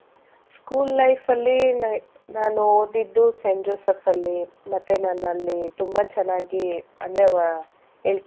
School life ಅಲ್ಲಿ ನ~ ನಾನು ಓದಿದ್ದು Saint Joseph ಅಲ್ಲಿ ಮತ್ತೆ ನಾನ್ ಅಲ್ಲಿ ತುಂಬಾ ಚೆನ್ನಾಗಿ ಅಂದ್ರೆ ವಾ~ .